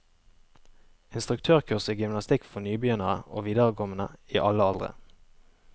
Instruktørkurs i gymnastikk for nybegynnere og viderekomne i alle aldre.